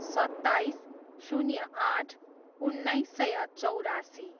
सत्ताइस, शून्य आठ, उन्नाइस सय चौरासी